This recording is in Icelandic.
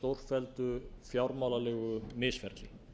og stórfelldu fjármálalegu misferli